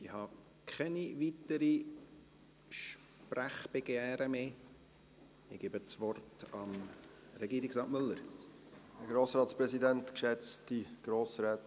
Ich habe keine weiteren Sprechbegehren mehr und gebe das Wort Regierungsrat Müller.